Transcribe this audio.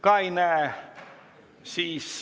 Ka ei näe.